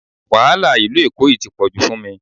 Wàhálà Ìlú Èkó yìí tí pọ̀jù fún mi